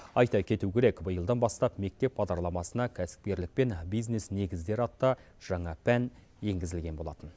айта кету керек биылдан бастап мектеп бағдарламасына кәсіпкерлік пен бизнес негіздері атты жаңа пән енгізілген болатын